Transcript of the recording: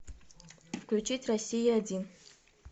включить россия один